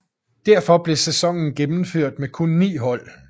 Derfor blev sæsonen gennemført med kun 9 hold